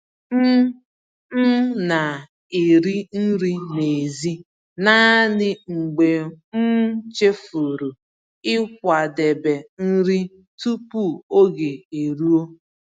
M M na-eri nri n'èzí naanị mgbe m chefuru ịkwadebe nri tupu oge eruo.